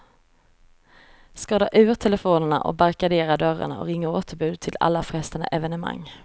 Ska dra ur telefonerna och barrikadera dörrarna och ringa återbud till alla frestande evenemang.